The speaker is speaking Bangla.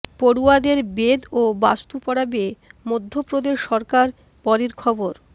পড়ুয়াদের বেদ ও বাস্তু পড়াবে মধ্যপ্রদেশ সরকার পরের খবর